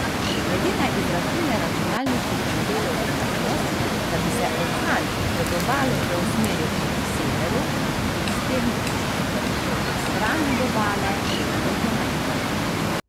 Glede na izračune računalniških modelov je možnost, da bi se orkan pred obalo preusmeril proti severu in s tem stran od obale, izredno majhna.